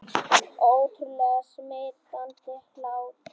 Ótrúlega smitandi hlátur